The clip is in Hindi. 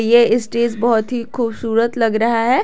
ये स्टेज बहुत ही खूबसूरत लग रहा है।